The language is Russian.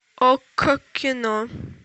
окко кино